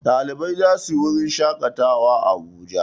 Ɗalibai za su wurin shaƙatawa a Abuja.